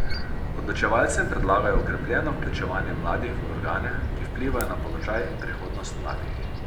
Odločevalcem predlagajo okrepljeno vključevanje mladih v organe, ki vplivajo na položaj in prihodnost mladih.